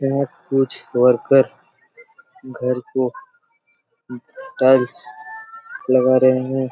यहाँ कुछ वर्कर घर को टाइल्स लगा रहे हैं।